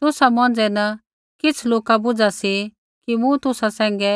तुसा मौंझ़ै न किछ़ लोका बुझा सी कि मूँ तुसा सैंघै